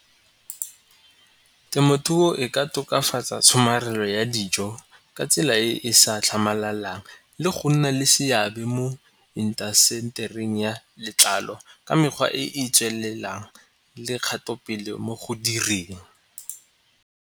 Temothuo e ka tokafatsa tshomarelo ya dijo ka tsela e e sa tlhamalang le go nna le seabe mo intasetering ya letlalo ka mekgwa e e tswelelang le kgato pele mo go direng.